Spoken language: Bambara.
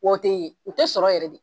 Wa o te ye o te sɔrɔ yɛrɛ de